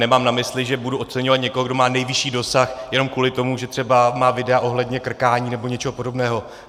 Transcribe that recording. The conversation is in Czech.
Nemám na mysli, že budu oceňovat někoho, kdo má nejvyšší dosah, jenom kvůli tomu, že třeba má videa ohledně krkání nebo něčeho podobného.